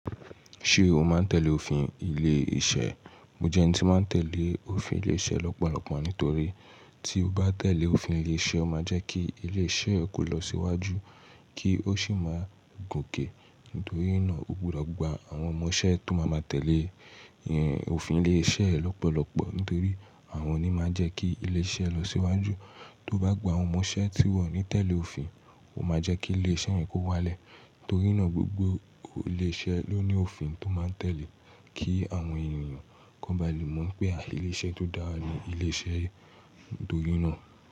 Ṣé o máa ń tẹ̀lé òfin ilé-iṣẹ́? Mo jẹ́ ẹni tí ó máa ń tẹ̀lé òfin ilé-iṣẹ́ lọ́pọ̀lọpọ̀ nítorí tí o bá tẹ̀lé òfin ilé-iṣẹ́, ó máa jẹ́ kí ilé-iṣẹ́ rẹ kó lọ síwájú kí ó sì máa gòkè. Nítorí ná o gbúdọ̀ gba àwọn ọmọ iṣẹ́ tó má máa tẹ̀lé òfin ilé iṣẹ́ rẹ lọ́pọ̀lọpọ̀ nítorí àwọn ni máa ń jẹ́ kí ilé iṣẹ́ lọ sí wájú. Tó bá gba àwọn ọmọ iṣẹ́ tí wọn ò ní tẹ̀lé òfin, ó máa jẹ́ kí ilé-iṣẹ́ rẹ kó wálẹ̀. Torí náà, gbogbo ilé-iṣẹ́ ló ní òfin tó máa tẹ̀lé kí àwọn ènìyàn kó ba lè mọ̀ pé à, ilé-iṣẹ́ tó dára ni ilé-iṣẹ́ torí náà.